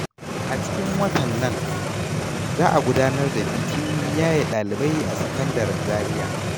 A cikin watan nan, za a gudanar da bikin yaye ɗalibai a sakandaren Zaria.